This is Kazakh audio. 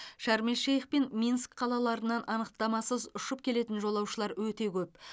шарм эль шейх пен минск қалаларынан анықтамасыз ұшып келетін жолаушылар өте көп